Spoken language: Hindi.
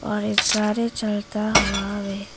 और ये सारे चलता हुआ वे--